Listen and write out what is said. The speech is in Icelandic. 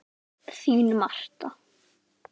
Þín Marta.